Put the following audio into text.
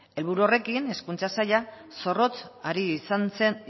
helburu horrekin hezkuntza saila zorrotz ari izan zen